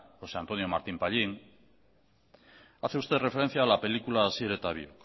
josé antonio martín pallín hace usted referencia a la película asier eta biok